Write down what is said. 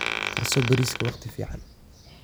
Karso bariiska waqti fiican.